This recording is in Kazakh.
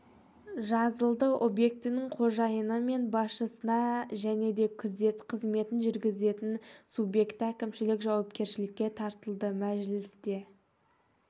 жазылды объектінің қожайыны мен басшысына және де күзет қызметін жүргізетін субъекті әкімшілік жауапкершілікке тартылды мәжілісте